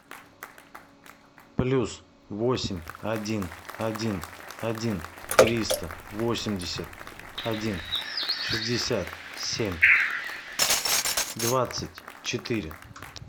плюс восемь один один один триста восемьдесят один шестьдесят семь двадцать четыре